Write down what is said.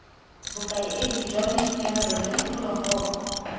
bokaedi jwa boitekanelo jwa diphologolo